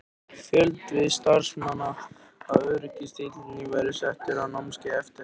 Fjöldi starfsmanna í öryggiseftirlitinu var settur á námskeið eftir þetta?